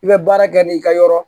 I bɛ baara kɛ n'i ka yɔrɔ